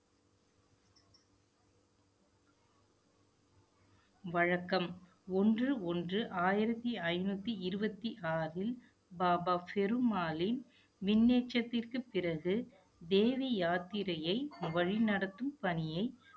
வழக்கம். ஒன்று ஒன்று, ஆயிரத்தி ஐந்நூத்தி இருபத்தி ஆறில், பாபா ஃபெரு மாலின் மின்னச்சத்திற்கு பிறகு தேவி யாத்திரையை வழிநடத்தும் பணியை